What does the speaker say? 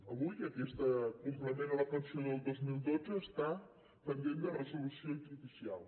avui aquest complement a la pensió del dos mil dotze està pendent de resolució judicial